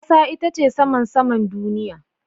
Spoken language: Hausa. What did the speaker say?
Kasa ita ce saman saman duniya.